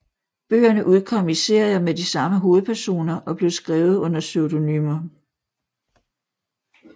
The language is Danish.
Bøgerne udkom i serier med de samme hovedpersoner og blev skrevet under pseudonymer